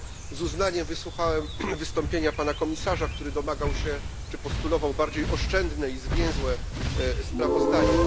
Z uznaniem wysłuchałem wystąpienia pana komisarza, który domagał się czy postulował bardziej oszczędne i zwięzłe sprawozdanie.